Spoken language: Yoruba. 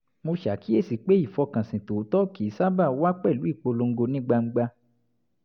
mo ṣàkíyèsi pé ìfọkànsìn tòótọ́ kì í sábà wá pẹ̀lú ìpolongo ní gbangba